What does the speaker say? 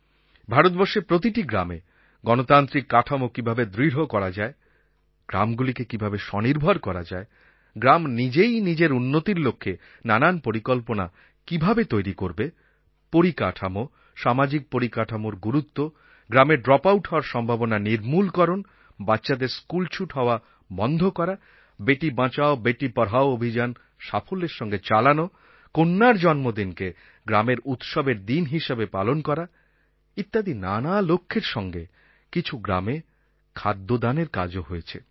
ভারতবর্ষের প্রতিটি গ্রামে গণতান্ত্রিক কাঠামো কীভাবে দৃঢ় করা যায় গ্রামগুলিকে কীভাবে স্বনির্ভর করা যায় গ্রাম নিজেই নিজের উন্নতির লক্ষ্যে নানান পরিকল্পনা কীভাবে তৈরি করবে পরিকাঠামো সামাজিক পরিকাঠামোর গুরুত্ব গ্রামে ড্রপআউট হওয়ার সম্ভাবনা নির্মূলকরণ বাচ্চাদের স্কুলছুট হওয়া বন্ধ করা বেটি বাঁচাও বেটি পড়াও অভিযান সাফল্যের সঙ্গে চালানো কন্যার জন্মদিনকে গ্রামের উৎসবের দিন হিসাবে পালন করা ইত্যাদি নানা লক্ষ্যের সঙ্গে কিছু গ্রামে খাদ্য দানের কাজও হয়েছে